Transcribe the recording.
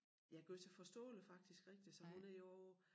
Ja gøre sig forståelig faktisk rigtig så hun er jo